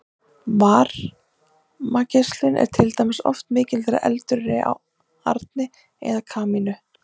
varmageislun er til dæmis oft mikil þegar eldur er í arni eða kamínu